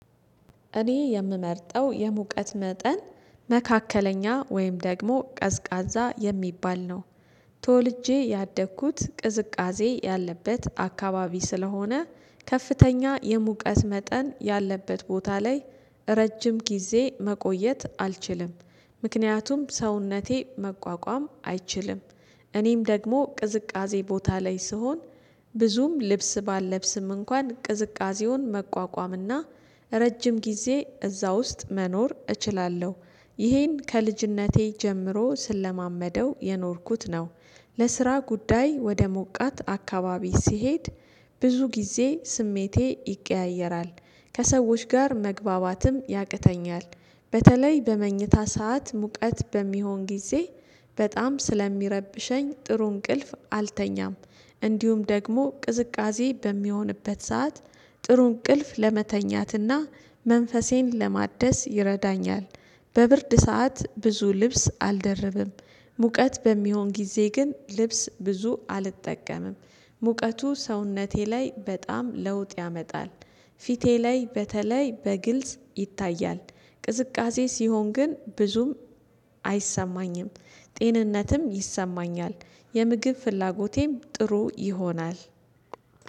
እኔ የምመርጠው የሙቀት መጠን መካከለኛ ወይም ደግሞ ቀዝቃዛ የሚባል ነው። ተወልጄ ያደግኩት ቅዝቃዜ ያለበት አካባቢ ስለሆነ ከፍተኛ የሙቀት መጠን ያለበት ቦታ ላይ ረጅም ጊዜ መቆየት አልችልም። ምክንያቱም ሰውነቴ መቋቋም አይችልም። እኔም ደግሞ ቅዝቃዜ ቦታ ላይ ስሆን ብዙም ልብስ ባልለብስም እንኳን ቅዝቃዜውን መቋቋምና ረጅም ጊዜ እዛ ውስጥ መኖር እችላለሁ። ይሄን ከልጅነቴ ጀምሮ ስለማመደው የኖርኩት ነው። ለስራ ጉዳይ ወደ ሞቃት አካባቢ ስሄድ ብዙ ጊዜ ስሜቴ ይቀያየራል። ከሰዎች ጋር መግባባትም ያቅተኛል። በተለይ በመኝታ ሰዓት ሙቀት በሚሆን ጊዜ በጣም ስለሚረብሸኝ ጥሩ እንቅልፍ አልተኛም። እንዲሁም ደግሞ ቅዝቃዜ በሚሆንበት ሰዓት ጥሩ እንቅልፍ ለመተኛትና መንፈሴን ለማደስ ይረዳኛል። በብርድ ሰዓት ብዙ ልብስ አልደርብም። ሙቀት በሚሆን ጊዜ ግን ልብስ ብዙ አልጠቀምም። ሙቀቱ ሰውነቴ ላይ በጣም ለውጥ ያመጣል። ፊቴ ላይ በተለይ በግልጽ ይታያል። ቅዝቃዜ ሲሆን ግን ብዙም አይሰማኝም። ጤንነትም ይሰማኛል የምግብ ፍላጎቴም ጥሩ ይሆናል።